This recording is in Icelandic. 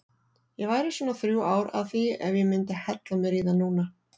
Ég væri svona þrjú ár að því ef ég myndi hella mér í það núna.